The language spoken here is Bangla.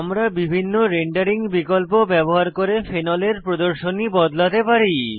আমরা বিভিন্ন রেন্ডারিং বিকল্প ব্যবহার করে ফেনলের প্রদর্শনী বদলাতে পারি